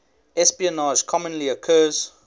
espionage commonly occurs